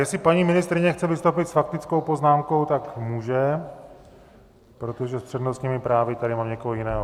Jestli paní ministryně chce vystoupit s faktickou poznámkou, tak může, protože s přednostními právy tady mám někoho jiného.